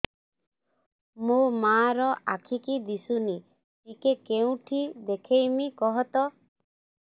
ମୋ ମା ର ଆଖି କି ଦିସୁନି ଟିକେ କେଉଁଠି ଦେଖେଇମି କଖତ